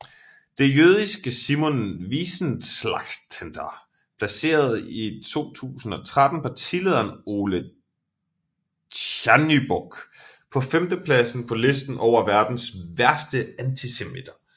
Det jødiske Simon Wiesenthalcenter placerede 2013 partilederen Oleh Tjahnybok på femtepladsen på listen over verdens værste antisemitter